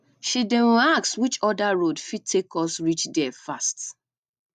she dey um ask which other road fit take us reach there fast